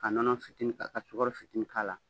Ka nɔnɔ fitinin ta ka sukaro fitinin k'a la